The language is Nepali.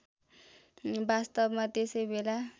वास्तवमा त्यसै बेला